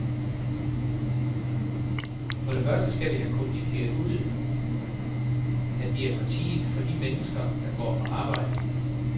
For det første skal vi have kommunikeret ud, at vi er partiet for de mennesker, der går på arbejde.